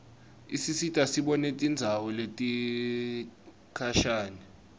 isisita sibone tindzawo letikhashane